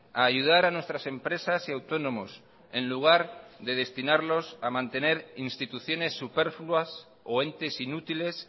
a ayudar a nuestras empresas y autónomos en lugar de destinarlos a mantener instituciones superfluas o entes inútiles